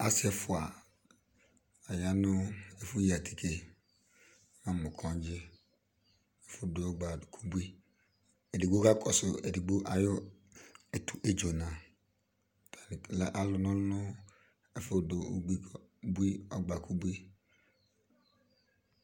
asi ɛfɔa ayanu ɛfɔya atikɛ amɔogɩ ɛfɔ bɔoga dɔkɔvi ɛdɩgo kakɔsu itsɔna la alɔnɔlo nu ɛfɔdɔ ogadɔkɔbi